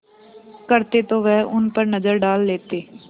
करते तो वह उन पर नज़र डाल लेते